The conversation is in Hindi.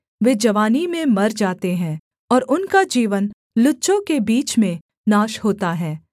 वे जवानी में मर जाते हैं और उनका जीवन लुच्चों के बीच में नाश होता है